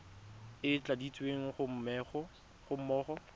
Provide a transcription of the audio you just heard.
e e tladitsweng ga mmogo